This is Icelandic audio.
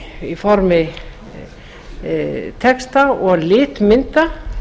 á formi texta og litmynda